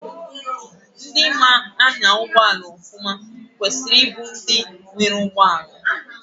Ndị maa anya ụgbọala ọfụma kwesiri ịbụ ndị nwere ụgbọala.